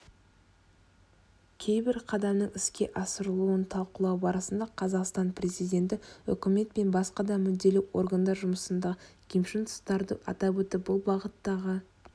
кейбір қадамның іске асырылуын талқылау барысында қазақстан президенті үкімет пен басқа да мүдделі органдар жұмысындағы кемшін тұстарды атап өтіп бұл бағыттағы